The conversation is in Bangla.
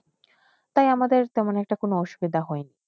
তাই আমাদের মনে কোন অসুবিধা হয়নেই